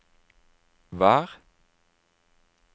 vær